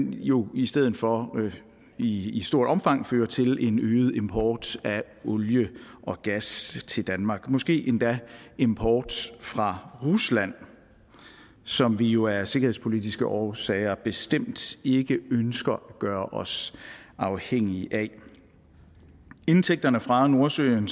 vil jo i stedet for i i stort omfang føre til en øget import af olie og gas til danmark måske endda import fra rusland som vi jo af sikkerhedspolitiske årsager bestemt ikke ønsker at gøre os afhængige af indtægterne fra nordsøen